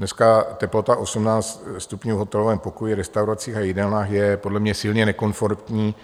Dneska teplota 18 stupňů v hotelovém pokoji, restauracích a jídelnách je podle mě silně nekomfortní